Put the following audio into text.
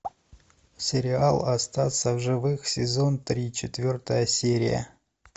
сериал остаться в живых сезон три четвертая серия